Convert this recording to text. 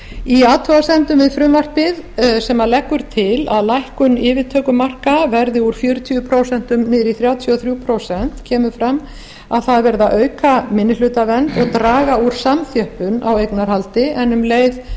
í athugasemdum við frumvarpið sem leggur til að lækkun yfirtökumarka verði úr fjörutíu prósent niður í þrjátíu og þrjú prósent kemur fram að það er verið að auka minnihlutavernd og draga úr samþjöppun á eignarhaldi en um leið